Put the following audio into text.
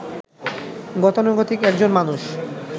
গতানুগতিক একজন মানুষ